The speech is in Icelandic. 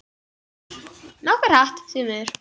Nokkuð hratt, því miður.